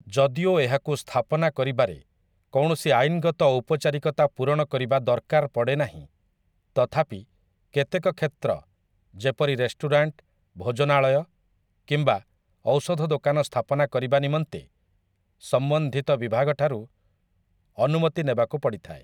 ଯଦିଓ ଏହାକୁ ସ୍ଥାପନା କରିବାରେ କୌଣସି ଆଇନ୍‌ଗତ ଔପଚାରିକତା ପୂରଣକରିବା ଦରକାର ପଡ଼େନାହିଁ ତଥାପି, କେତେକ କ୍ଷେତ୍ର ଯେପରି ରେଷ୍ଟୁରାଣ୍ଟ ଭୋଜନାଳୟ କିମ୍ବା ଔଷଧଦୋକାନ ସ୍ଥାପନାକରିବା ନିମନ୍ତେ ସମ୍ବନ୍ଧିତ ବିଭାଗଠାରୁ ଅନୁମତି ନେବାକୁ ପଡ଼ିଥାଏ ।